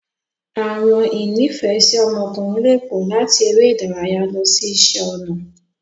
Awọn ìnifẹ̀ẹ́si ọmọkùnrin lè pọ, làti eré ìdárayá lọ si iṣẹ ọnà.